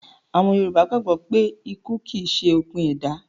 Àwọn Yorùbá gbàgbó pé ikú kìí ṣe òpin ẹ̀dá